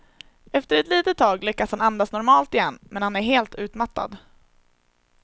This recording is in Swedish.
Efter ett litet tag lyckas han andas normalt igen, men han är helt utmattad.